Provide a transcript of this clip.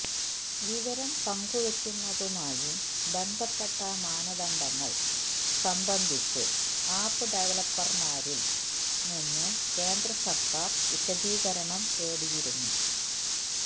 വിവരം പങ്കുവയ്ക്കുന്നതുമായി ബന്ധപ്പെട്ട മാനദണ്ഡങ്ങൾ സംബന്ധിച്ച് ആപ്പ് ഡെവലപ്പർമാരിൽ നിന്ന് കേന്ദ്രസർക്കാർ വിശദീകരണം തേടിയിരുന്നു